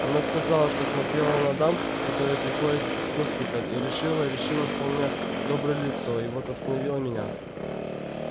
она сказала что смотрела на дам которые приходят в госпиталь и решила решила что у меня доброе лицо и вот остановила меня